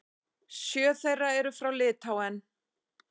Sjö þeirra eru frá Litháen.